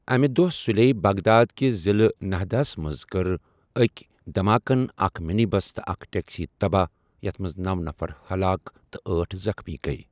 امہ دۄہہ سُلیے بغداد کِس ضلعہٕ نہدہ ہَس منٛز کٔر أکۍ دماکن اکھ منی بس تہٕ اکھ ٹیکسی تباہ، یتھ منٛز نو نفر ہلاک تہِ ٲٹھ زخمی گیۍ۔